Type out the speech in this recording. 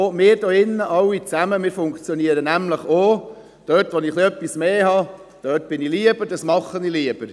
Auch wir alle hier drin, wir funktionieren nämlich so, dass ich lieber dort bin oder etwas lieber mache, wenn ich dort etwas mehr habe.